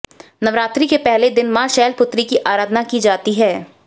नवरात्रि के पहले दिन मां शैलपुत्री की आराधना की जाती है